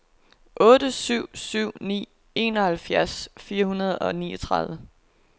otte syv syv ni enoghalvfjerds fire hundrede og niogtredive